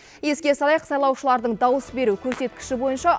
еске салайық сайлаушылардың дауыс беру көрсеткіші бойынша